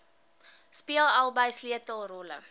speel albei sleutelrolle